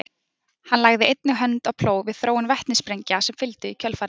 hann lagði einnig hönd á plóg við þróun vetnissprengja sem fylgdu í kjölfarið